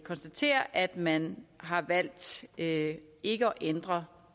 konstatere at man har valgt ikke ikke at ændre